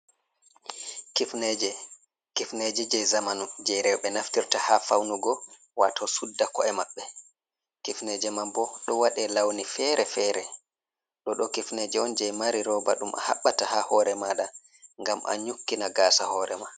kifneje je zaman je rewɓe naftirta ha faunugo wato sudda ko’e mabbe kifneje man bo do wade launi fere-fere do do kifneje on je mari roba dum a habbata ha hore mada gam an nyukkina gasa hore ma